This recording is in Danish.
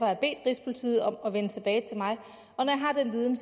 jeg bedt rigspolitiet om at vende tilbage til mig og når jeg har den viden